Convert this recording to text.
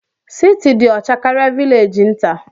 Siti dị ọcha karịa vilegi nta.